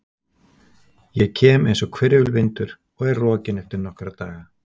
Ég kem einsog hvirfilvindur og er rokinn eftir nokkra daga.